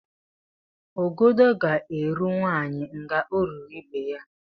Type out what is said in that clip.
Ọgọdọ gá-eru nwanyị ngá o ruru ibe ya